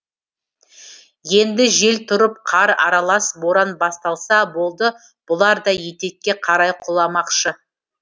енді жел тұрып қар аралас боран басталса болды бұлар да етекке қарай құламақшы